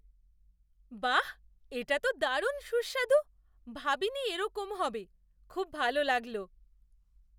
বাহ! এটা তো দারুণ সুস্বাদু, ভাবিনি এরকম হবে। খুব ভালো লাগলো।